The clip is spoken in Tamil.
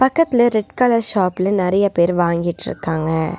பக்கத்துல ரெட் கலர் ஷாப்ல நறைய பேர் வாங்கிட்ருக்காங்க.